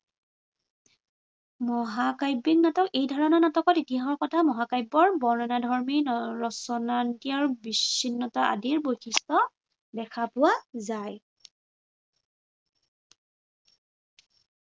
মহাকাব্য়িক নাটক- এইধৰণৰ নাটকত ইতিহাসৰ কথা, মহাকাব্য়ৰ বৰ্ণনাধৰ্মী ৰচনা বিচ্ছিন্নতা আদি বৈশিষ্ট্য় দেখা পোৱা যায়।